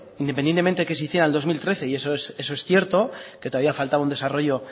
independientemente que se hiciera en el dos mil trece y eso es cierto que todavía falta un desarrollo